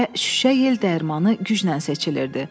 Və şüşə yel dərmanı güclə seçilirdi.